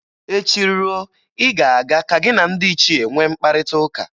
Echi ruo, ị ga-aga ka gị na ndị ichie nwe mkparịtaụka